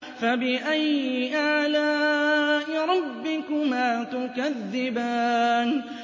فَبِأَيِّ آلَاءِ رَبِّكُمَا تُكَذِّبَانِ